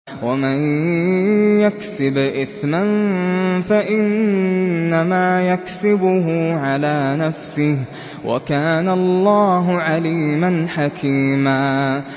وَمَن يَكْسِبْ إِثْمًا فَإِنَّمَا يَكْسِبُهُ عَلَىٰ نَفْسِهِ ۚ وَكَانَ اللَّهُ عَلِيمًا حَكِيمًا